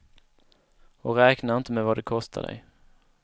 Och räknar inte med vad det kostar dig.